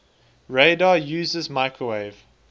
radar uses microwave